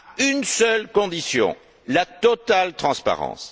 Une seule condition la totale transparence.